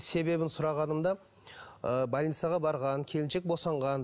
себебін сұрағанымда ы больницаға барған келіншек босанған